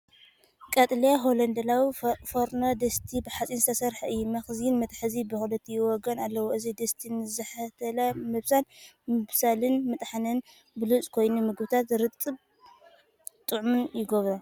ቀጠልያ ሆላንዳዊ ፎርኖ ድስቲ ብሓጺን ዝተሰርሐ እዩ። መኽደኒን መትሓዚን ብኽልቲኡ ወገን ኣለዎ። እዚ ድስቲ ንዝሕታለ ምብሳል፡ ምብሳልን ምጥሓንን ብሉጽ ኮይኑ፡ ምግብታት ርጥብን ጥዑምን ይገብሮም።